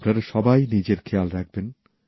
আপনারা সবাই নিজের খেয়াল রাখবেন